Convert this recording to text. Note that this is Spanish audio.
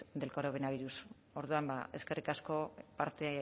del coronavirus orduan eskerrik asko